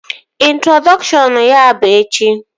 Introdọkshọn ya bụ echi